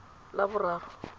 laboraro